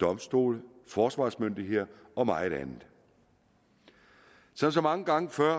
domstole forsvarsmyndigheder og meget andet som så mange gange før